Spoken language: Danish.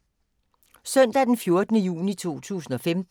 Søndag d. 14. juni 2015